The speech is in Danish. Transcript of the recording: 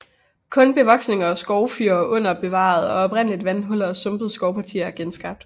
Kun bevoksninger af skovfyr er bevaret og oprindelige vandhuller og sumpede skovpartier er genskabt